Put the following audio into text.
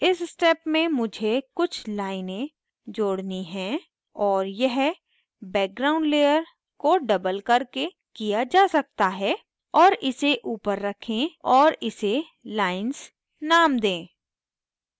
इस step में मुझे कुछ लाइनें जोड़नी हैं और यह background layer को डबल करके किया जा सकता है और इसे ऊपर रखें और इसे lines नाम दें